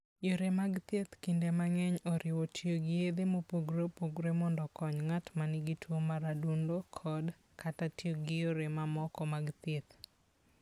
Yore mag thieth kinde mang'eny oriwo tiyo gi yedhe mopogore opogore mondo okony ng'at ma nigi tuwo mar adundo kod/kata tiyo gi yore mamoko mag thieth.